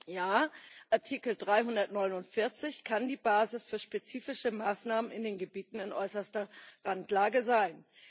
Ja, Artikel 349 kann die Basis für spezifische Maßnahmen in den Gebieten in äußerster Randlage sein.